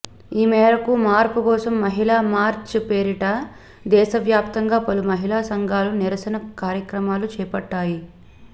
ఈ మేరకు మార్పు కోసం మహిళా మార్చ్ పేరిట దేశ వ్యాప్తంగా పలు మహిళా సంఘాలు నిరసన కార్యక్రమాలు చేపట్టాయి